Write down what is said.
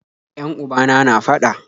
Yan ubana na fada